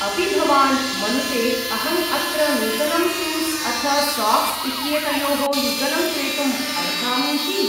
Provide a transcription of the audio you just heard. अपि भवान् मनुते अहम् अत्र नूतनं शूस् अथ साक्स् इत्येतयोः युगलं क्रेतुम् अर्हामीति?